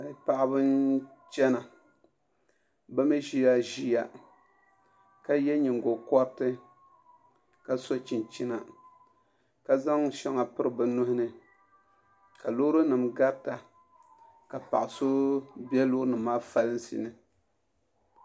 Paɣaba n chɛna bi mii ʒila ʒiya ka yɛ nyingokoriti ka so chinchina ka zaŋ shɛŋa piri bi nuhuni ka loori nim garita ka paɣa so bɛ loori nim maa falinsi ni